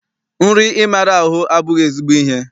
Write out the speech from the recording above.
Nri ịmara ahụ abụghị ezigbo ihe.